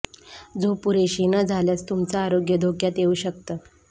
झोप पुरेशी न झाल्यास तुमचं आरोग्य धोक्यात येऊ शकतं